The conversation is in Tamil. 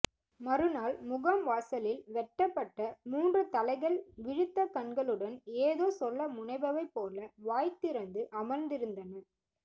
மறுநாள் முகாம் வாசலில் வெட்டப்பட்ட மூன்று தலைகள் விழித்த கண்களுடன் ஏதோ சொல்ல முனைபவை போல வாய்திறந்து அமர்ந்திருந்தன